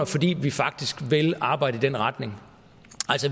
fordi vi faktisk vil arbejde i den retning